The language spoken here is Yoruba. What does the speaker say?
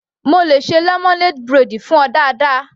Mo le ṣe lemonade braid fún ọ dáadáa.